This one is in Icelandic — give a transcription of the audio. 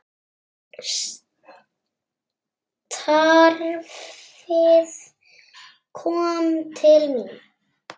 Starfið kom til mín!